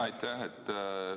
Aitäh!